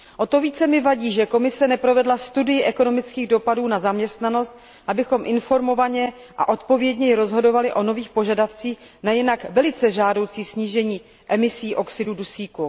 O to více mi vadí, že Komise neprovedla studii ekonomických dopadů na zaměstnanost, abychom informovaně a odpovědněji rozhodovali o nových požadavcích na jinak velice žádoucí snížení emisí oxidu dusíku.